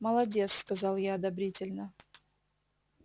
молодец сказал я одобрительно